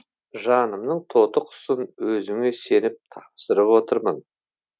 жанымның тоты құсын өзіңе сеніп тапсырып отырмын